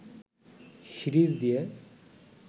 series দিয়ে